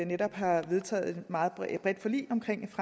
netop har vedtaget et meget bredt forlig